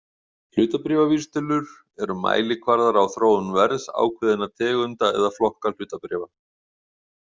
Hlutabréfavísitölur eru mælikvarðar á þróun verðs ákveðinna tegunda eða flokka hlutabréfa.